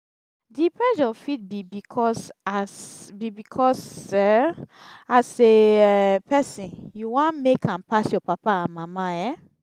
di pressure fit be because as be because as a um person you wan make am pass your papa and mama um